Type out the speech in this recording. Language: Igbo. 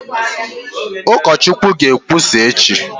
Ụkọchukwu ga-ekwusa echi?